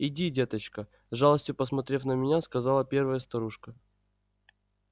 иди деточка с жалостью посмотрев на меня сказала первая старушка